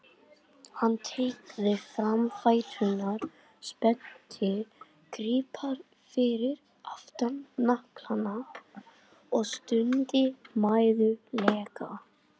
Hann teygði fram fæturna, spennti greipar fyrir aftan hnakka og stundi mæðulega.